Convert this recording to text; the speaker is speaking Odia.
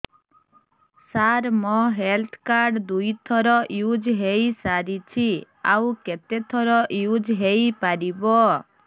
ସାର ମୋ ହେଲ୍ଥ କାର୍ଡ ଦୁଇ ଥର ୟୁଜ଼ ହୈ ସାରିଛି ଆଉ କେତେ ଥର ୟୁଜ଼ ହୈ ପାରିବ